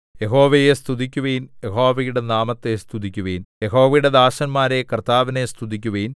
യഹോവയെ സ്തുതിക്കുവിൻ യഹോവയുടെ നാമത്തെ സ്തുതിക്കുവിൻ യഹോവയുടെ ദാസന്മാരേ കർത്താവിനെ സ്തുതിക്കുവിൻ